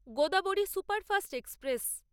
Godavari superfast express